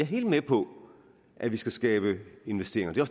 helt med på at vi skal skabe investeringer det er